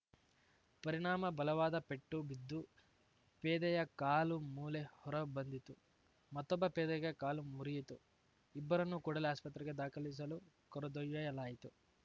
ಪರಿಣಾಮ ಬಲವಾದ ಪೆಟ್ಟು ಬಿದ್ದು ಪೇದೆಯ ಕಾಲುಮೂಳೆ ಹೊರ ಬಂದಿತು ಮತ್ತೊಬ್ಬ ಪೇದೆಗೆ ಕಾಲು ಮುರಿಯಿತು ಇಬ್ಬರನ್ನು ಕೂಡಲೇ ಆಸ್ಪತ್ರೆಗೆ ದಾಖಲಿಸಲು ಕರೆದೊಯ್ಯಲಾಯಿತು